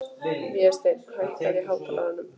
Vésteinn, hækkaðu í hátalaranum.